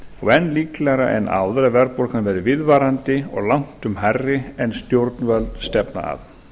og enn líklegra en áður að verðbólgan verði viðvarandi og langtum hærri en stjórnvöld stefna að